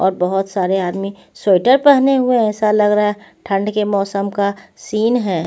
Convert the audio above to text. और बहुत सारे आदमी स्वेटर पहने हुए ऐसा लग रहा है ठंड के मौसम का सीन है.